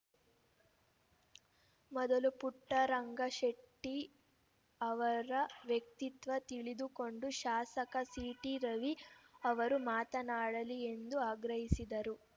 ಮೊದಲು ಪುಟ್ಟರಂಗಶೆಟ್ಟಿ ಅವರ ವ್ಯಕ್ತಿತ್ವ ತಿಳಿದುಕೊಂಡು ಶಾಸಕ ಸಿಟಿ ರವಿ ಅವರು ಮಾತನಾಡಲಿ ಎಂದು ಆಗ್ರಹಿಸಿದರು